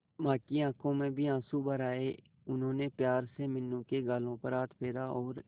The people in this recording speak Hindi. मां की आंखों में भी आंसू भर आए उन्होंने प्यार से मीनू के गालों पर हाथ फेरा और